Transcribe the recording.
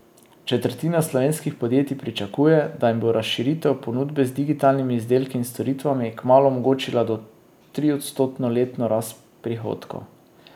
Četrtina slovenskih podjetij pričakuje, da jim bo razširitev ponudbe z digitalnimi izdelki in storitvami kmalu omogočila do triodstotno letno rast prihodkov.